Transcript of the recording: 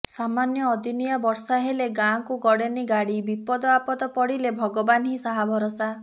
ସାମନ୍ୟ ଅଦିନିଆ ବର୍ଷା ହେଲେ ଗାଁକୁ ଗଡେନି ଗାଡି ବିପଦ ଆପଦ ପଡିଲେ ଭଗବାନ ହିଁ ସାହା ଭରଷା